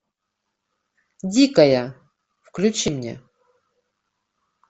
дикая включи мне